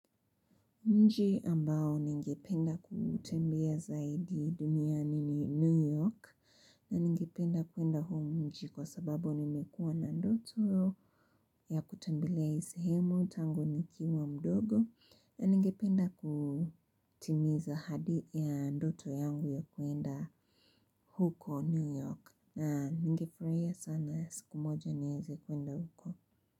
Mji ambao ningependa kutembea zaidi duniani ni New York na ningependa kwenda huo mji kwa sababu nimekuwa na ndoto ya kutembelea hii sehemu tangu nikiwa mdogo na ningependa kutimiza ahadi ya ndoto yangu ya kuenda huko New York na ningefurahia sana siku moja nieze kwenda huko.